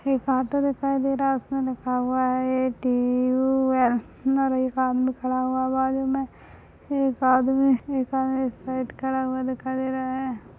एक ऑटो दिखाई दे रहा है उसमें लिखा हुआ है ए -टी -ऊ -ऐल अंदर एक आदमी खड़ा हुआ है बाजु में एक आदमी एक आदमी इस साइड खड़ा हुआ दिखाई दे रहा है।